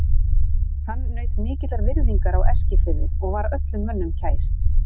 Hann naut mikillar virðingar á Eskifirði og var öllum mönnum kær.